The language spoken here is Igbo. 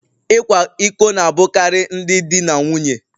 Ịkwa iko na-abụkarị ndị di na nwunye